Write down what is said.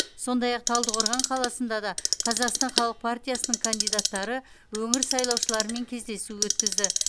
сондай ақ талдықорған қаласында да қазақстан халық партиясының кандидаттары өңір сайлаушыларымен кездесу өткізді